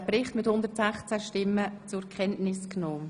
Sie haben den Bericht ebenfalls einstimmig zur Kenntnis genommen.